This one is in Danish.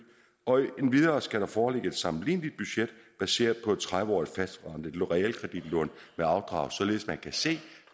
og endvidere skal der foreligge et sammenligneligt budget baseret på et tredive årig t fastforrentet realkreditlån med afdrag således at man kan se